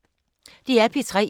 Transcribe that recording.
DR P3